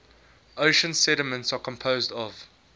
ocean sediments are composed of